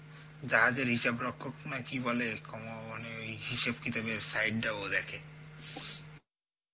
জাহাজের হিসাব রক্ষক নাকি বলে ওমানে ওই হিসাব কিতাবের side টা ও দেখে